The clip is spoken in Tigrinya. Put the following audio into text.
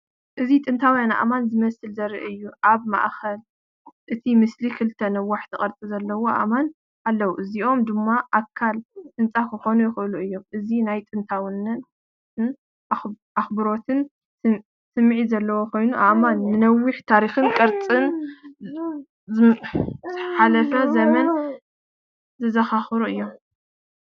እዚ ጥንታውያን ኣእማን ዝመስል ዘርኢ እዩ። ኣብ ማእከል እቲ ምስሊ ክልተ ነዋሕቲ ቅርጺ ዘለዎም ኣእማን ኣለዉ፣ እዚኦም ድማ ኣካል ህንጻ ክኾኑ ይኽእሉ እዮም። እዚ ናይ ጥንታዊነትን ኣኽብሮትን ስምዒት ዘለዎ ኮይኑ ኣእማን ንነዊሕ ታሪኽን ቅርሲ ዝሓለፈ ዘመንን ዘዘኻኽሩኒ እዮም።